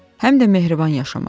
Həm də mehriban yaşamaq.